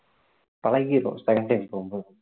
பழகிரும் second time போகும் போது